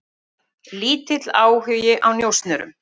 Lítill áhugi á njósnurum